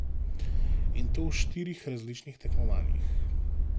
In to v štirih različnih tekmovanjih.